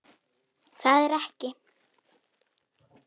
Það er ekki.